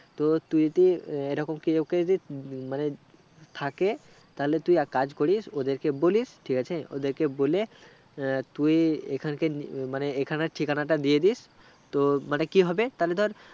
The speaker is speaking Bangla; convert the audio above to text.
তো তুই কি এই রকম কি কাওকে মানে থাকে তাহলে তুই এক কাজ করিস ওদেরকে বলিস ঠিকআছে ওদেরকে বলে তুই এখানকে নিমানে এখানের ঠিকানাটা দিয়েদিস তো মানে কি হবে তাহলে ধর